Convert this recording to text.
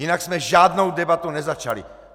Jinak jsme žádnou debatu nezačali!